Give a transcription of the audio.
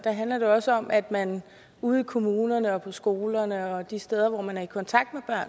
også om at man ude i kommunerne og på skolerne og de steder hvor man er i kontakt